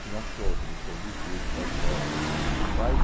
Tinha show, teve show do Gil, do Caetano, quer dizer, os principais...